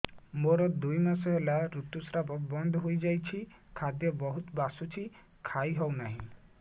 ମୋର ଦୁଇ ମାସ ହେଲା ଋତୁ ସ୍ରାବ ବନ୍ଦ ହେଇଯାଇଛି ଖାଦ୍ୟ ବହୁତ ବାସୁଛି ଖାଇ ହଉ ନାହିଁ